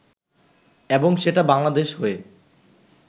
এবং সেটা বাংলাদেশ হয়ে